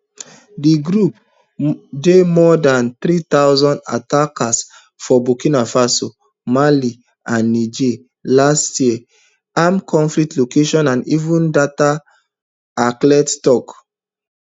di group do more dan three thousand attacks for burkina faso mali and niger last year armed conflict location and event data acled tok